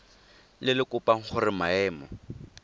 le le kopang gore maemo